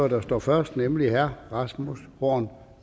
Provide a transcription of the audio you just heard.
der står først nemlig herre rasmus horn